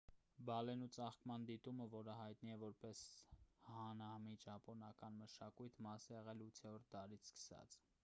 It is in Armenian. բալենու ծաղկման դիտումը որը հայտնի է որպես հանամի ճապոնական մշակույթի մասն է եղել 8-րդ դարից սկսած